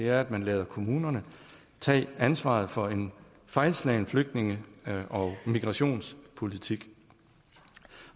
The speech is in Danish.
er at man lader kommunerne tage ansvaret for en fejlslagen flygtninge og migrationspolitik